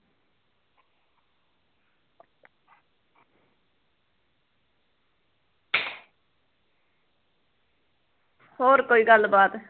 ਹੋਰ ਕੋਈ ਗੱਲ ਬਾਤ